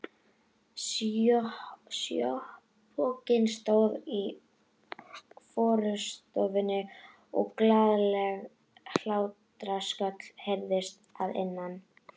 Sjópokinn stóð í forstofunni og glaðleg hlátrasköll heyrðust að innan.